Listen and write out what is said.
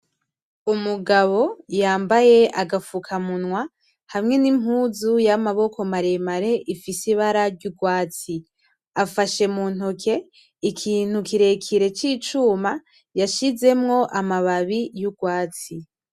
Umugabo yambaye agafuka munwa hamwe n’impuzu y’amaboko maremare ifise ibara ry’urwatsi afashe mu ntoki ikintu kirekire c’icuma yashize yashizemwo amababi y’urwatsi.